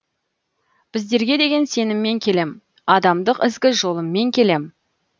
біздерге деген сеніммен келем адамдық ізгі жолыммен келем